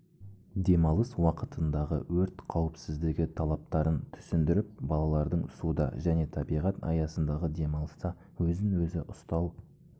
демалыс уақытындағы өрт қауіпсіздігі талаптарын түсіндіріп балалардың суда және табиғат аясындағы демалыста өзін өзі ұстау